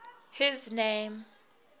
his name